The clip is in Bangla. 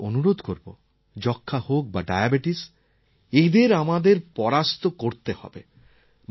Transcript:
আমি আপনাদের অনুরোধ করব যক্ষ্মা হোক বা ডায়াবেটিস এদের আমাদের পরাস্ত করতে হবে